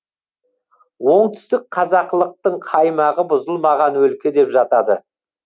оңтүстік қазақылықтың қаймағы бұзылмаған өлке деп жатады